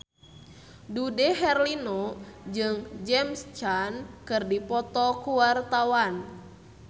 Dude Herlino jeung James Caan keur dipoto ku wartawan